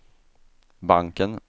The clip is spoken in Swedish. banken